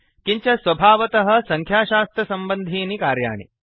किञ्च स्वभावतः संख्याशास्त्रसम्बन्धीनि कार्याणि